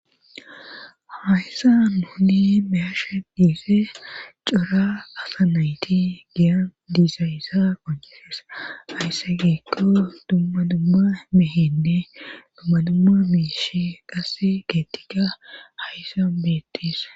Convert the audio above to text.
hayssa nuni beyashe diisee cora asa nayti giyan diisa issa qonjeses haysse giko dumma dumma mehende dumma dumma miish qasse geettika hayson beetis